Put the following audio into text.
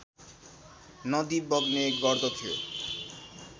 नदी बग्ने गर्दथियो